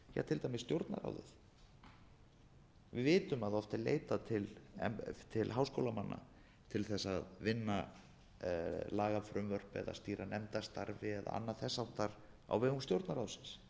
til dæmis stjórnarráðið við vitum að oft er leitað til háskólamanna til þess að vinna lagafrumvörp eða stýra nefndastarfi eða annað þess háttar á vegum stjórnarráðsins